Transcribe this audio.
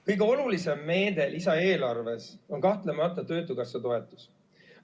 Kõige olulisem meede lisaeelarves on kahtlemata töötukassa toetus.